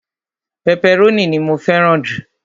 pẹpẹrónì ni mó fẹràn ju